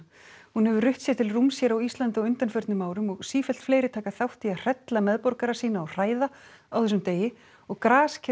hún hefur rutt sér til rúms hér á Íslandi á undanförnum árum og sífellt fleiri taka þátt í að hrella meðborgara sína og hræða á þessum degi og grasker